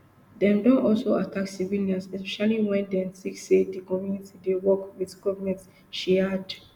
dem don also attack civilians especially wen dem tink say di community dey work wit goment she add